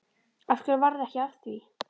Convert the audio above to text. Af hverju varð ekki af því?